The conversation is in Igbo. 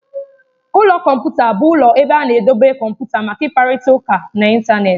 Ụlọ kọmputa bụ ụlọ ebe a na-edobe kọmputa maka ịkparịta ụka n'Ịntanet.